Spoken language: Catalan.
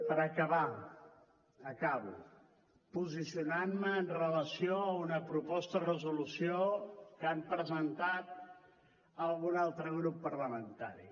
per acabar acabo posicionant me amb relació a una proposta de resolució que ha presentat algun altre grup parlamentari